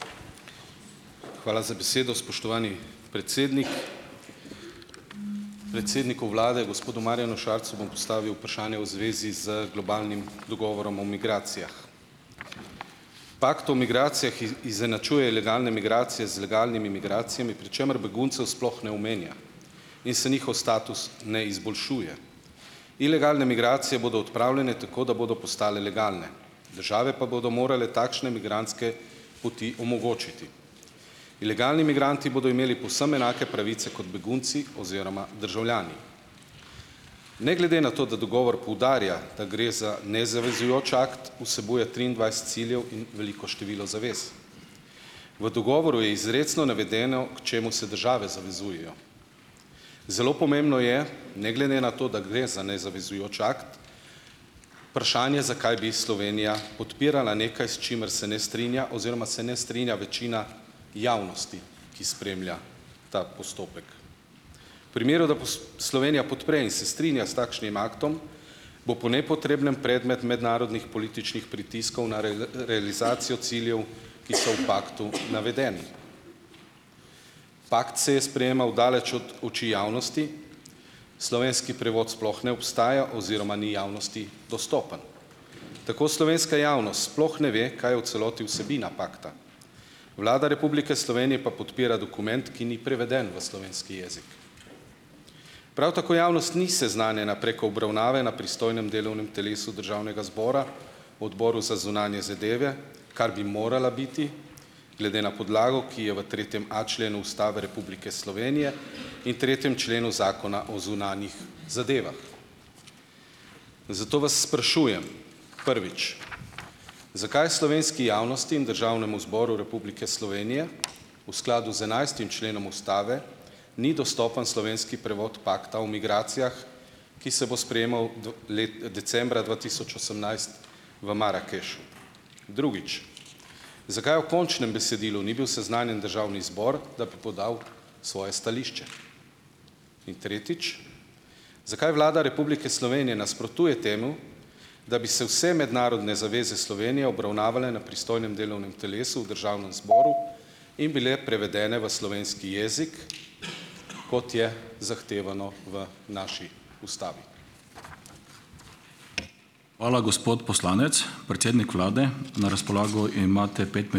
Hvala za besedo, spoštovani predsednik. Predsedniku vlade, gospodu Marjanu Šarcu, bom postavil vprašanje v zvezi z globalnim dogovorom o migracijah. Pakt o migracijah izenačuje ilegalne migracije z legalnimi migracijami, pri čemer beguncev sploh ne omenja in se njihov status ne izboljšuje. Ilegalne migracije bodo odpravljene tako, da bodo postale legalne, države pa bodo morale takšne migrantske poti omogočiti. Ilegalni migranti bodo imeli povsem enake pravice kot begunci oziroma državljani. Ne glede na to, da dogovor poudarja, da gre za nezavezujoč akt, vsebuje triindvajset ciljev in veliko število zavez. V dogovoru je izrecno navedeno, k čemu se države zavezujejo. Zelo pomembno je, ne glede na to, da gre za nezavezujoč akt, vprašanje, zakaj bi Slovenija podpirala nekaj, s čimer se ne strinja oziroma se ne strinja večina javnosti, ki spremlja ta postopek. Primeru, da Slovenija podpre in se strinja s takšnim aktom, bo po nepotrebnem predmet mednarodnih političnih pritiskov na realizacijo ciljev, ki so v paktu navedeni. Pakt se je sprejemal daleč od oči javnosti, slovenski prevod sploh ne obstaja oziroma ni javnosti dostopen. Tako slovenska javnost sploh ne ve, kaj je v celoti vsebina pakta. Vlada Republike Slovenije pa podpira dokument, ki ni preveden v slovenski jezik. Prav tako javnost ni seznanjena preko obravnave na pristojnem delovnem telesu državnega zbora, Odboru za zunanje zadeve, kar bi morala biti, glede na podlago, ki je v tretjem a členu Ustave Republike Slovenije in tretjem členu Zakona o zunanjih zadevah. Zato vas sprašujem: Prvič, zakaj slovenski javnosti in Državnemu zboru Republike Slovenije v skladu z enajstim členom ustave ni dostopen slovenski prevod pakta o migracijah, ki se bo sprejemal decembra dva tisoč osemnajst v Marakešu? Drugič, zakaj o končnem besedilu ni bil seznanjen državni zbor, da bi podal svoje stališče? In tretjič, zakaj Vlada Republike Slovenije nasprotuje temu, da bi se vse mednarodne zaveze Slovenije obravnavale na pristojnem delovnem telesu v državnem zboru in bile prevedene v slovenski jezik, kot je zahtevano v naši ustavi?